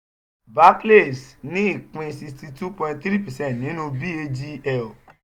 barclays ní ìpín sixty two point three percent nínú bagl.